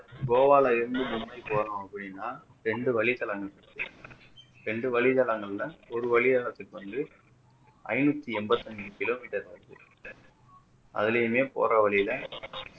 கோவாவுல இருந்து மும்பைக்கு வரணும் அப்படின்னா இரண்டு வழிகள் அங்கிட்டு இருக்கு இரண்டு வழிகள் அங்க இருந்தா ஒரு வழியால வர்றதுக்கு வந்து ஐநூற்றி என்பத்தி ஐந்து kilometer வருது அதுலயுமே போற வழில